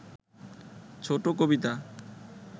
ছোট কবিতা